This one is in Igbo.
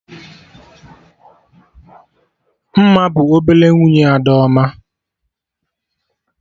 Mma bụ ọbele nwunye Adaoma